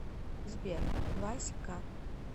сбер вась ка